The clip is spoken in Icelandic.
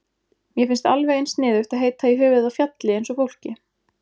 Mér finnst alveg eins sniðugt að heita í höfuðið á fjalli eins og fólki.